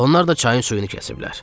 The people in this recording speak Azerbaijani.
Onlar da çayın suyunu kəsiblər.